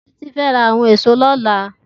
Titi fè rá áwòn ésò lòlá